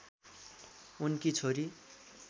उनकी छोरी